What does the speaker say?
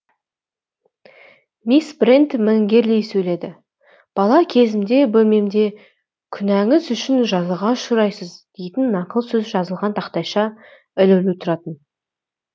мисс брент міңгірлей сөйледі бала кезімде бөлмемде күнәңіз үшін жазаға ұшыраи сыз дейтін нақыл сөз жазылған тақтайша ілулі тұратын